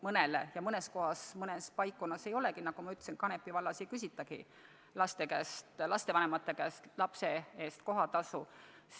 Mõnele ja mõnes paikkonnas ei olegi – nagu ma ütlesin, Kanepi vallas ei küsitagi lastevanemate käest lapse eest kohatasu.